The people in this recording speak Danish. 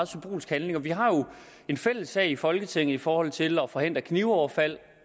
symbolsk handling vi har jo en fælles sag i folketinget i forhold til at forhindre knivoverfald